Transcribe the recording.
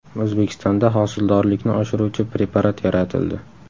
O‘zbekistonda hosildorlikni oshiruvchi preparat yaratildi.